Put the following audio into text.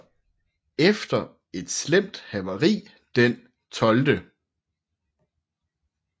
Efter et slemt havari den 12